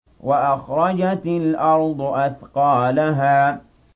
وَأَخْرَجَتِ الْأَرْضُ أَثْقَالَهَا